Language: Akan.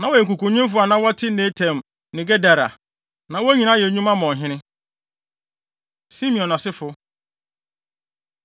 Na wɔyɛ nkukunwemfo a na wɔte Netaim ne Gedera. Na wɔn nyinaa yɛ nnwuma ma ɔhene. Simeon Asefo